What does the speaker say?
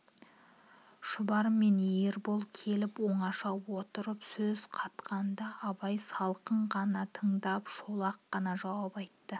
шубар мен ербол келіп оңаша отырып сөз қатқанда абай салқын ғана тыңдап шолақ қана жауап айтты